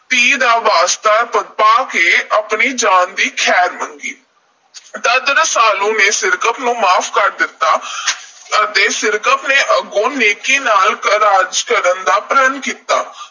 ਧੀ ਦਾ ਵਾਸਤਾ ਪਾ ਕੇ ਆਪਣੀ ਜਾਨ ਦੀ ਖ਼ੈਰ ਮੰਗੀ। ਤਦ ਰਸਾਲੂ ਨੇ ਸਿਰਕੱਪ ਨੂੰ ਮਾਫ਼ ਕਰ ਦਿੱਤਾ ਅਤੇ ਸਿਰਕੱਪ ਨੇ ਅੱਗੋਂ ਨੇਕੀ ਨਾਲ ਰਾਜ ਕਰਨ ਦਾ ਪ੍ਰਣ ਕੀਤਾ।